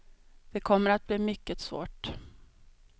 Det kommer att bli mycket svårt.